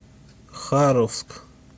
харовск